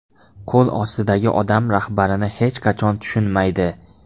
Qo‘l ostidagi odam rahbarini hech qachon tushunmaydi.